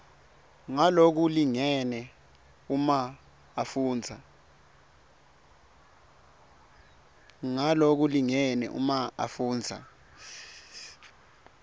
ngalokulingene uma afundza